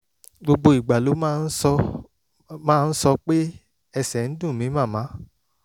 gbogbo ìgbà ló máa ń sọ máa ń sọ pé "ẹsẹ̀ ń dùn mí màmá